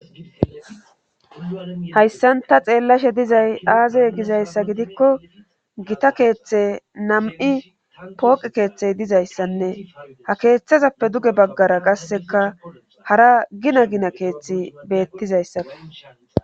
Hayssanta xeellashe dizay aazey gizayssa gidikko gita keeththe nam'i pooqi keeththey dizayssanne ha keeththazappe duge baggara qasseka hara gina gina keeththi beettizayssafe.